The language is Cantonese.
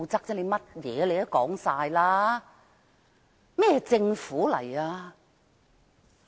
甚麼都是你說的，這是甚麼政府？